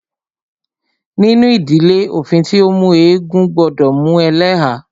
Nínú ìdílé, òfin tí o mú eégún gbọdọ mú ẹlẹ́há.